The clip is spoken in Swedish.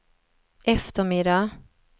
eftermiddag